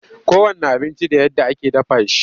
Kowanne abinci da yadda ake dafa shi.